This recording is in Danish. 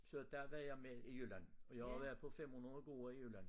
Så der var jeg med i Jylland og jeg har været på 500 gårde i Jylland